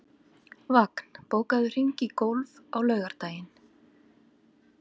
Vagn, bókaðu hring í golf á laugardaginn.